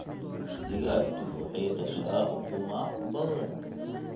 digagtu waxay dashaa ukumaa badaan.